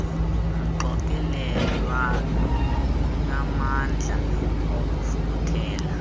mxokelelwano unamandla okufuthela